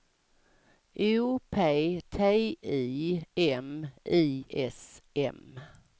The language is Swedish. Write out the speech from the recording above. O P T I M I S M